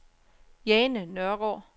Jane Nørgaard